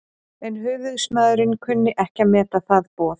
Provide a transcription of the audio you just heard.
En höfuðsmaðurinn kunni ekki að meta það boð.